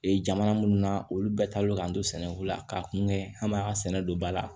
Ee jamana minnu na olu bɛɛ taalen k'an to sɛnɛko la k'a kungɛ an b'a sɛnɛ don ba la